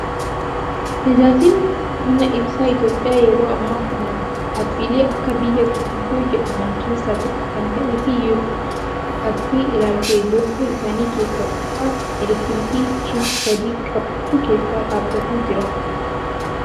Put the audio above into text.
Tajaajilli humna ibsaa Itoophiyaa yeroo ammaa kana dhaabbilee akka biyyaa gurguddoo jedhaman keessaa tokko kan ta'ee fi yoo hubattee ilaalte loogoo isaanii keessa utubaa elektiriikii shiboo sadii qabutu keessa dhaabbatee jira.